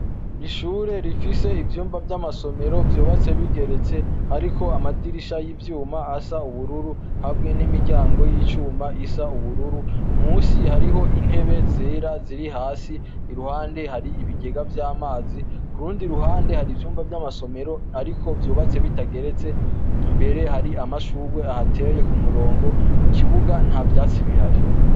Ishure rifise ivyumba vy'amasomero vyobatse bigeretse, ariko amadirisha y'ivyuma asa ubururu habwe n'imiryango y'icuma isa ubururu musi hariho intebe zera ziri hasi iruhande hari ibigega vy'amazi ku rundi ruhande hari ivyumba vy'amasomero, ariko vyobatse bitageretse mbere hari amashurwe ahateye ku murongo mu kibuga nta vyasibihari.